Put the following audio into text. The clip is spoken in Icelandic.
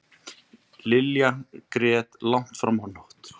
Lilla grét langt fram á nótt.